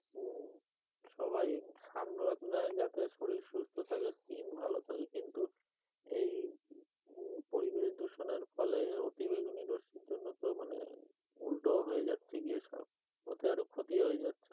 হম সবাই sun bath নেই যাতে শরীর সুস্থ থাকে skin ভালো থাকে কিন্তু এই পরিবেশ দূষণের ফলে অতি বেগুনি রশ্মি জন্য তো মানে উল্টো হয়ে যাচ্ছে গিয়ে সব কোথায় আরো ক্ষতি হয়ে যাচ্ছে লোকের,